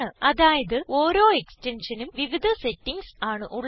അതായത് ഓരോ Extensionനും വിവിധ സെറ്റിംഗ്സ് ആണ് ഉള്ളത്